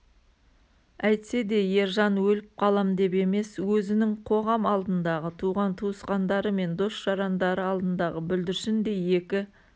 әйтсе де ержан өліп қалам деп емес өзінің қоғам алдындағы туған-туысқандары мен дос-жарандары алдындағы бүлдіршіндей екі